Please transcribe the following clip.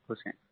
बहुत खुश हैं